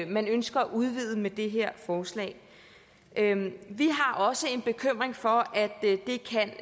man ønsker at udvide med det her forslag vi har også en bekymring for at